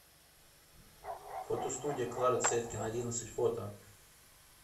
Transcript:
фотостудия клары цеткин одиннадцать фото